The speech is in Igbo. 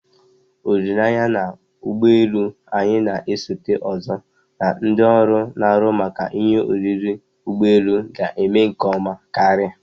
Olileanya na ụgbọ elu anyị na-esote ozo na ndị ọrụ na-ahụ maka ihe oriri ụgbọ elu ga-eme nke ọma karia